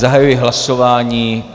Zahajuji hlasování.